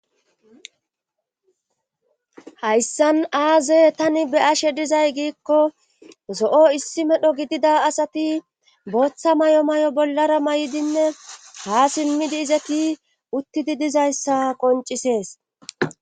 hayssan aaze tani beashe dizay giikko zo7o issi medho gidida asati booththa mayo mayo bollara may7dinne ha simmidi izeki uttidi dizayssa qoncisees